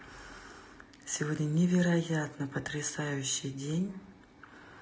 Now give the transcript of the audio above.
сегодня невероятно потрясающий день